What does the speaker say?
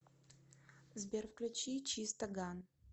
сбер включи чистоган